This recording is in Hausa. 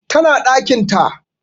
Tana ɗakin ta